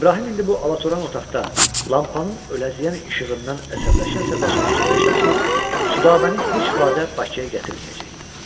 İbrahim indi bu alatran otaqda lampanın öləziyən işığından əsəbləşə-əsəbləşə fikirləşdi ki, Südabəni heç vaxt Bakıya gətirməyəcək.